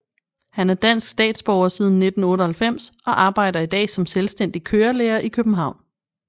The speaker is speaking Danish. Han er dansk statsborger siden 1998 og arbejder i dag som selvstændig kørelærer i København